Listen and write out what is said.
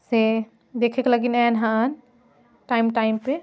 से देखक लगिन एयन हन टाइम टाइम पे--